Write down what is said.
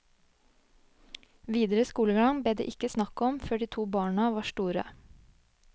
Videre skolegang ble det ikke snakk om før de to barna var store.